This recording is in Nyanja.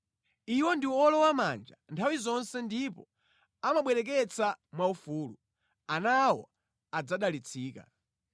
Iwo ndi owolowamanja nthawi zonse ndipo amabwereketsa mwaufulu; ana awo adzadalitsika.